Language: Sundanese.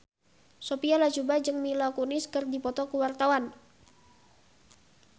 Sophia Latjuba jeung Mila Kunis keur dipoto ku wartawan